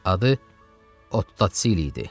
Adı Ottosili idi.